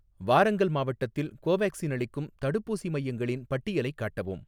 வாரங்கல் மாவட்டத்தில் கோவேக்சின் அளிக்கும் தடுப்பூசி மையங்களின் பட்டியலைக் காட்டவும்